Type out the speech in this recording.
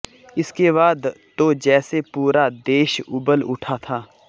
इसके बाद तो जैसे पूरा देश उबल उठा था